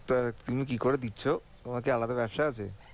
তো তুমি কি করে দিচ্ছো? তোমার কি আলাদা ব্যবসা আছে?